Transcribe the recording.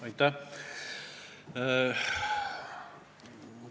Aitäh!